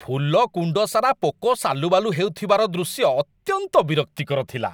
ଫୁଲ କୁଣ୍ଡ ସାରା ପୋକ ସାଲୁବାଲୁ ହେଉଥିବାର ଦୃଶ୍ୟ ଅତ୍ୟନ୍ତ ବିରକ୍ତିକର ଥିଲା।